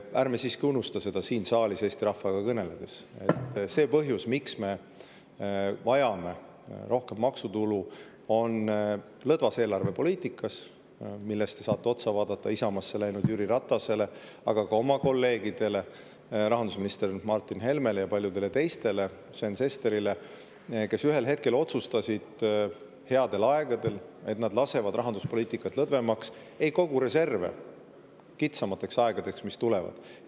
Ärme siiski unusta seda siin saalis Eesti rahvaga kõneledes, et see põhjus, miks me vajame rohkem maksutulu, on lõdvas eelarvepoliitikas, mille eest te saate otsa vaadata Isamaasse läinud Jüri Ratasele, aga ka oma kolleegidele, rahandusminister Martin Helmele, Sven Sesterile ja paljudele teistele, kes ühel hetkel headel aegadel otsustasid, et nad lasevad rahanduspoliitika lõdvemaks, ei kogu reserve kitsamateks aegadeks, mis tulevad.